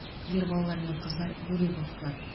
ер балалар мен қыздар бөлек оқытылады